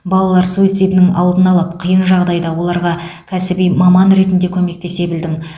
балалар суицидінің алдын алып қиын жағдайда оларға кәсіби маман ретінде көмектесе білдің